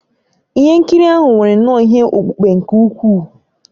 Ihe nkiri ahụ nwere nnọọ ihe okpukpe nke ukwuu